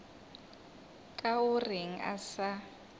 ka o reng a sa